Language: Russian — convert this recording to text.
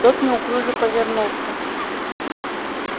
тот неуклюже повернулся